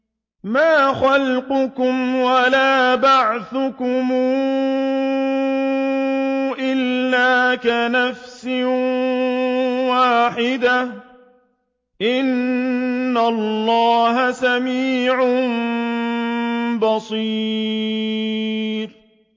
مَّا خَلْقُكُمْ وَلَا بَعْثُكُمْ إِلَّا كَنَفْسٍ وَاحِدَةٍ ۗ إِنَّ اللَّهَ سَمِيعٌ بَصِيرٌ